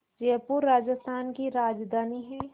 जयपुर राजस्थान की राजधानी है